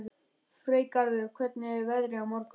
Freygarður, hvernig er veðrið á morgun?